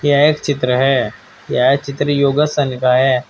यह एक चित्र है यह चित्र योगासन का है।